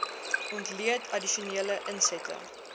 ontleed addisionele insette